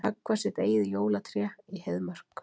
Höggva sitt eigið jólatré í Heiðmörk